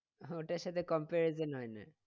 ওটার সাথে comparison হয় না।